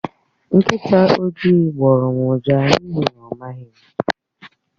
Nkịta oji gbórọ́ m ụja n'ihi na ọ maghị m